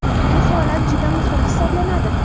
Bu holat juda muhim hisoblanadi.